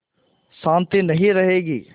शान्ति नहीं रहेगी